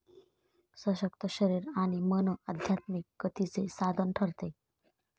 सशक्त शरीर आणि मन आध्यात्मिक गतीचे साधन ठरते.